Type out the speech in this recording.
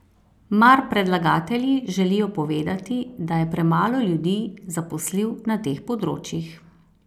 Mar predlagatelji želijo povedati, da je premalo ljudi zaposlil na teh področjih?